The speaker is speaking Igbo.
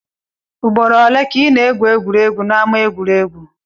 Ugboro ole ka ị na-egwu egwuregwu n'ama egwuregwu?